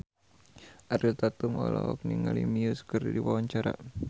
Ariel Tatum olohok ningali Muse keur diwawancara